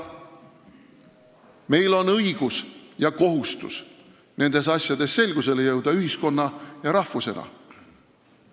Meil on õigus ja kohustus nendes asjades ühiskonna ja rahvusena selgusele jõuda.